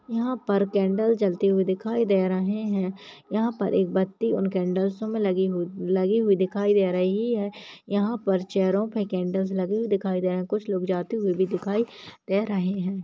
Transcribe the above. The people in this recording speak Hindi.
यहा पर कैंडल जलती हुई दिखाई दे रही है यहा पर एक बत्ती उन कैंडल्सो में लगी हुई लगी हुई दीखाई दे रही है यहाँ पर चेयरों पे कैंडल्स लगी हुई दिखाई दे रही कुछ लोग जाते हुए भी दीखाई दे रहे है।